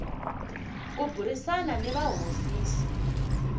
ku burisana ni va hofisi